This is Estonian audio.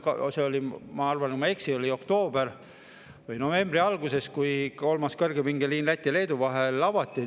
See oli, ma arvan, et ma ei eksi, oktoobris või novembri algul, kui kolmas kõrgepingeliin Läti ja Leedu vahel avati.